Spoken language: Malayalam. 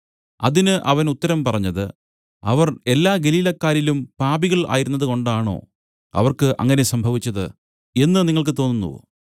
അതിന് അവൻ ഉത്തരം പറഞ്ഞത് അവർ എല്ലാ ഗലീലക്കാരിലും പാപികൾ ആയിരുന്നത് കൊണ്ടാണോ അവർക്ക് അങ്ങനെ സംഭവിച്ചത് എന്നു നിങ്ങൾക്ക് തോന്നുന്നുവോ